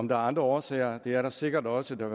om der er andre årsager det er der sikkert også da